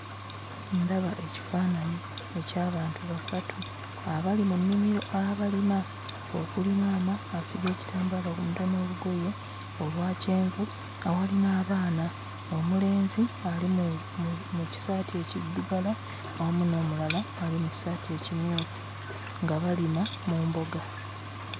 Ndaba ekifaananyi eky'abantu basatu abali mu nnimiro abalima, okuli maama asibye ekitambaala ku mutwe n'olugoye olwa kyenvu. Awali n'abaana omulenzi ali mu mu kisaati ekiddugala awamu n'omulala ali mu kisaati ekimyufu nga balima mu mboga.